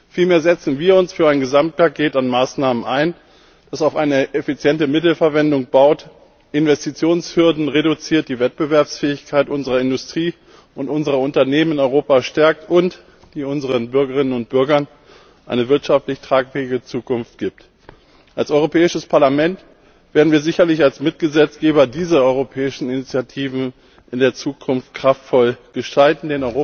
Vielmehr setzen wir uns für ein Gesamtpaket an Maßnahmen ein, das auf eine effiziente Mittelverwendung baut, Investitionshürden reduziert, die Wettbewerbsfähigkeit unserer Industrie und unserer Unternehmen in Europa stärkt und unseren Bürgerinnen und Bürgern eine wirtschaftlich tragfähige Zukunft gibt. Als Europäisches Parlament werden wir sicherlich als Mitgesetzgeber diese europäischen Initiativen in der Zukunft kraftvoll gestalten.